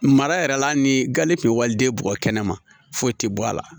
Mara yɛrɛ la hali ni gan ni kun bɛ waliden bɔgɔ kɛnɛ ma foyi tɛ bɔ a la